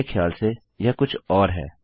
मेरे ख्याल से यह कुछ और है